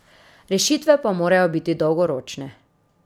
Rešitve pa morajo biti dolgoročne.